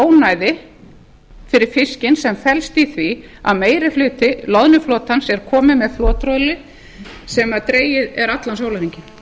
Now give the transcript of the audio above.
ónæði fyrir fiskinn sem felst í því að meiri hluti loðnuflotans er kominn með flottrollið sem dregið er alla sólarhringinn